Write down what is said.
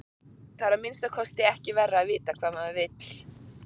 Það er að minnsta kosti ekki verra að vita hvað maður vill.